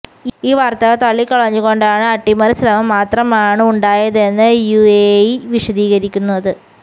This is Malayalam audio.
ഈ വാർത്തകൾ തള്ളക്കളഞ്ഞു കൊണ്ടാണ് അട്ടിമറി ശ്രമം മാത്രമാണ് ഉണ്ടായതെന്ന് യുഎഇ വിശദീകരിക്കുന്നത്